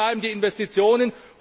Also, wo bleiben die Investitionen?